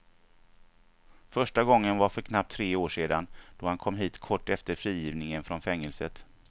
Första gången var för knappt tre år sedan då han kom hit kort efter frigivningen från fängelset.